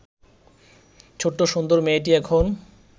ছোট্ট সুন্দর মেয়েটি এখন